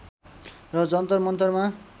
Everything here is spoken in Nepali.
र जन्तर मन्तरमा